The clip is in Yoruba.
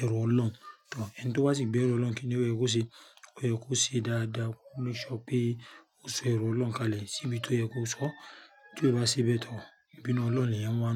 ẹ̀rọ ọlọ́un. Tò, ẹni tí ba sì ń gbé ẹ̀ru ọlọ́un kíni ó yẹ kó ṣe? Ó yẹ kó ṣe dáadáa, make sure pé ó so ẹ̀ru ọlọ́un kalẹ̀ síbi tó yẹ kó sọ. Ti o bá ṣe bẹ́ẹ̀ to, ìbínú ọlọ́un lèèyàn máa ń.